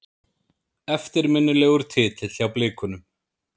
Eftirminnilegur titill hjá Blikunum.